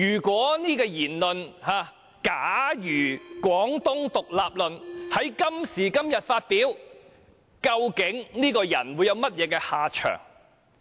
假如"廣東獨立論"在今時今日發表，究竟這個人會有甚麼下場？